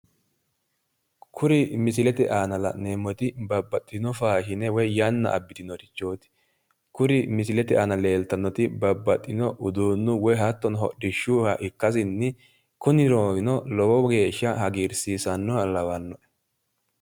kuri misilete ana la'neemmoti babbaxitino faashine woyi yanna abbitinorichooti kuri misilete aana leeltanori babbaxitinori uduunuwa woy hodhishshuwa ikkitanna kuni loosino lowo geeshsha hagiirsiisannoha lawannoe.